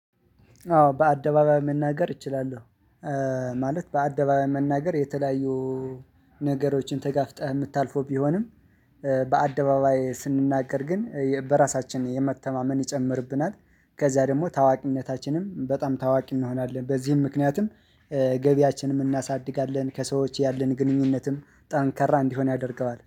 አዎ በአደባባይ መናገር እችላለሁ። ማለት በአደባባይ መናገር የተለያዩ ነገሮችን ተጋፍጠህ የምታልፈው ቢሆንም በአደባባይ ስንናገር ግን በራሳችን የመተማመን ይጨምርብናል ከዛ ደግሞ ታዋቂነታችንም በጣም ታዋቂ እንሆናለን። በዚህም ምክንያትም ገቢያችንም እናሳድጋለን። ከሰዎች ያለን ግንኙነትም ጠንካራ እንዲሆን ያደርገዋል